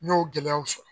N y'o gɛlɛyaw sɔrɔ